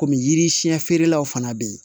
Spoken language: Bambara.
Kɔmi yiri siɲɛ feerelaw fana bɛ yen